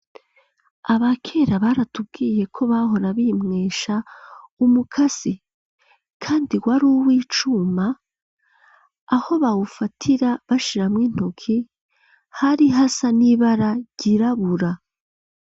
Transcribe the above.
Abakera, baratubwiye ko, bahora bimwesha, umukasi; kandi, wari uw'icuma, aho bawufatira, bashiramwo intoki, hari hasa, n'ibara ryirabura.